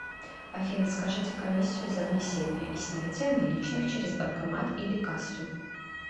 афина скажите комиссию за внесение и снятие наличных через банкомат или кассу